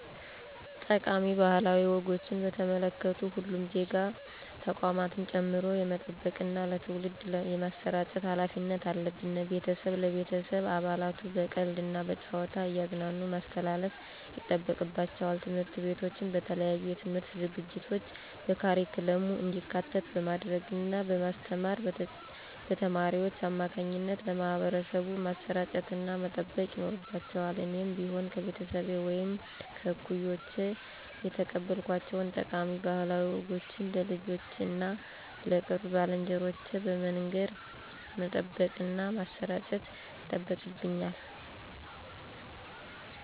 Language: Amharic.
ጠቃሚ ባህላዊ ወጎችን በተመለከቱ ሁሉም ዜጋ ተቋማትን ጨምሮ የመጠበቅና ለትውልድ የማሰራጨት ሀላፊነት አለብን። ቤተሰብ ለቤተሰብ አባላቱ በቀልድ እና በጨዋታ እያዝናኑ ማስተላለፍ ይጠበቅባቸዋል። ትምህርት ቤቶችም በተለያዩ የትምህርት ዝግጅቶች በካሪኩለም እንዲካተት በማድረግ እና በማስተማር በተማሪዎች አማካኝነት ለማህበረሰቡ ማሰራጨትና መጠበቅ ይኖርባቸዋል እኔም ብሆን ከቤተሰቤ ወይም ከእኩዮቼ የተቀበልኳቸውን ጠቃሚ ባህላዊ ወጎችን ለልጆቼ እና ለቅርብ ባልንጀሮቼ በመንገር መጠበቅና ማሠራጨት ይጠበቅብኛል።